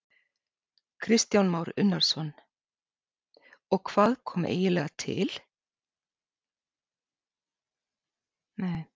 Kristján Már Unnarsson: Og hvað eiginlega kom til?